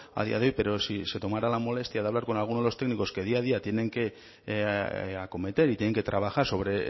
a día de hoy pero si se tomara la molestia de hablar con alguno de los técnicos que día a día tienen que acometer y tienen que trabajar sobre